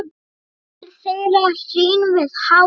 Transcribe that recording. móðir þeirra hrín við hátt